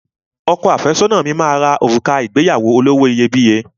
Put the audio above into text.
Ọkọ àfẹ́sọ́nà mi máa ra òrùka ìgbéyàwó olówó iyebíye